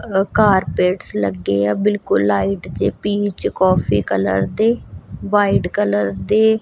carpets ਲੱਗੇ ਆ ਬਿਲਕੁਲ ਲਾਈਟ ਜੇ ਪੀਚ ਕਾਫੀ ਕਲਰ ਦੇ ਵਾਈਟ ਕਲਰ ਦੇ--